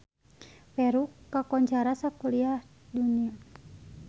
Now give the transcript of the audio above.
Peru kakoncara sakuliah dunya